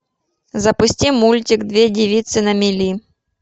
запусти мультик две девицы на мели